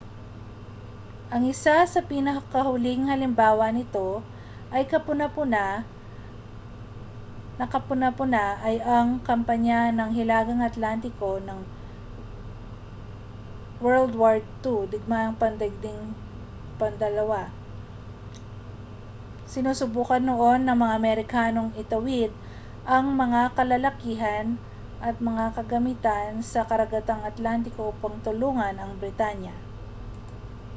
ang isa sa pinakahuling halimbawa nito na kapuna-puna ay ang kampanya ng hilagang atlantiko ng wwii digmaang pandaigdig ii. sinusubukan noon ng mga amerikanong itawid ang mga kalalakihan at mga kagamitan sa karagatang atlantiko upang tulungan ang britanya